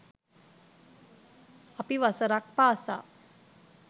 අපි වසරක් පාසා